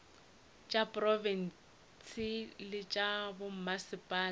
tša diprofense le tša bommasepala